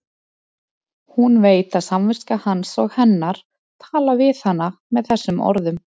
Hún veit að samviska hans og hennar tala við hana með þessum orðum.